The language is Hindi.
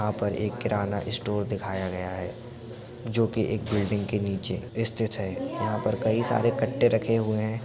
यहां पर एक किराना स्टोर दिखाया गया है जोकि एक बिल्डिंग के नीचे स्थित है। यहां पर कई सारे कट्टे रखे हुए है।